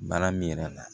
Baara min yɛrɛ la